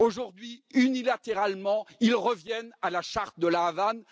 Aujourd'hui, unilatéralement, ils reviennent à la charte de La Havane.